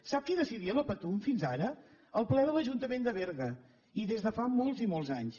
sap qui decidia la patum fins ara el ple de l’ajuntament de berga i des de fa molts i molts anys